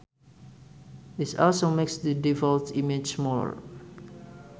This also makes the default images smaller.